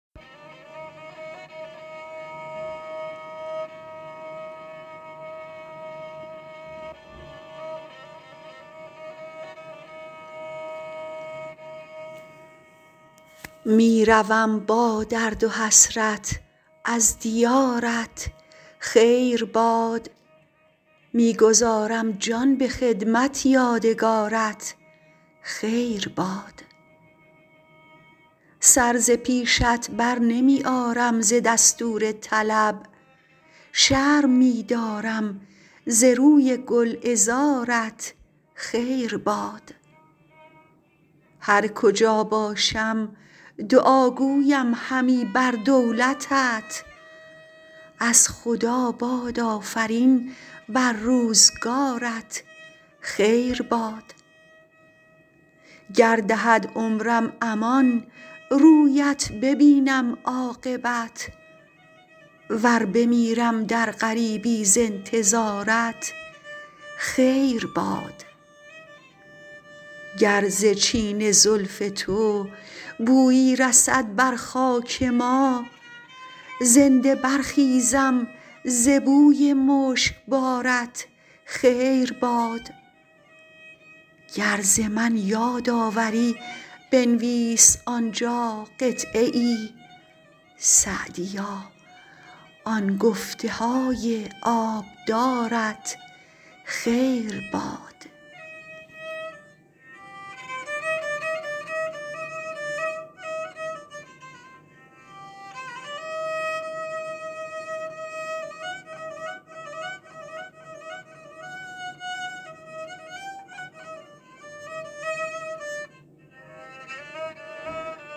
می روم با درد و حسرت از دیارت خیر باد می گذارم جان به خدمت یادگارت خیر باد سر ز پیشت برنمی آرم ز دستور طلب شرم می دارم ز روی گلعذارت خیر باد هر کجا باشم دعا گویم همی بر دولتت از خدا باد آفرین بر روزگارت خیر باد گر دهد عمرم امان رویت ببینم عاقبت ور بمیرم در غریبی ز انتظارت خیر باد گر ز چین زلف تو بویی رسد بر خاک ما زنده برخیزم ز بوی مشکبارت خیر باد گر ز من یاد آوری بنویس آنجا قطعه ای سعدیا آن گفته های آبدارت خیر باد